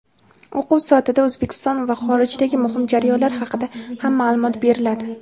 o‘quv soatida O‘zbekiston va xorijdagi muhim jarayonlar haqida ham maʼlumot beriladi.